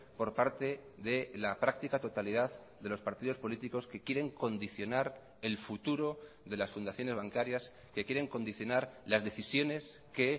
por parte de la práctica totalidad de los partidos políticos que quieren condicionar el futuro de las fundaciones bancarias que quieren condicionar las decisiones que